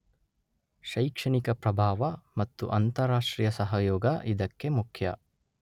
ಶೈಕ್ಷಣಿಕ ಪ್ರಭಾವ ಮತ್ತು ಅಂತರರಾಷ್ಟ್ರೀಯ ಸಹಯೋಗ ಇದಕ್ಕೆ ಮುಖ್ಯ